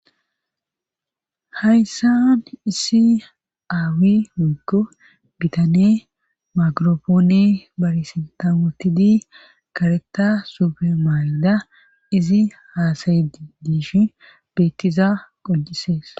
hayssan issi aawi moko bitane makoropoone barisintamotidi kareta subermayida izi haasayii dishi beettiza qoncises.